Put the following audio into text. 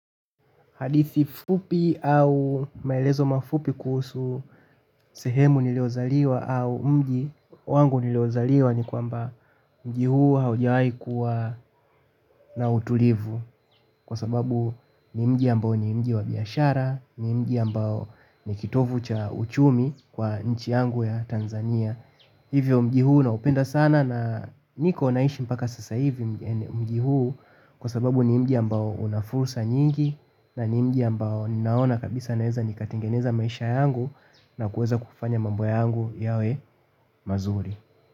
Hadithi fupi au maelezo mafupi kuhusu sehemu niliozaliwa au mji wangu niliozaliwa ni kwamba mji huu haujawai kuwa na utulivu kwa sababu ni mji ambao ni mji wa biashara, ni mji ambao ni kitovu cha uchumi kwa nchi yangu ya Tanzania. Hivyo, mji huu naupenda sana na niko naishi mpaka sasa hivi mji huu kwa sababu ni mji ambao una fursa nyingi na ni mji ambao ninaona kabisa naeza nikatengeneza maisha yangu na kuweza kufanya mambo yangu yawe mazuri.